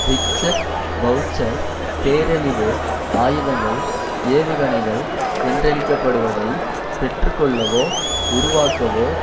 Richard Boucher பேரழிவு ஆயுதங்கள் ஏவுகணைகள் என்றழைக்கப்படுவதை பெற்றுக்கொள்ளவோ உருவாக்கவோ